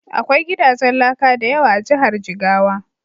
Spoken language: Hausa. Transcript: Akwai gidajen laka da yawa a Jihar Jigawa.